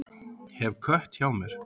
Hef kött hjá mér.